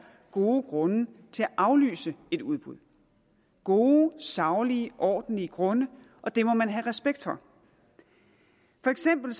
gode grunde til at aflyse et udbud gode saglige ordentlige grunde og det må man have respekt for for eksempel